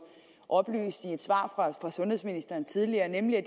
oplyst i et svar fra sundhedsministeren tidligere nemlig at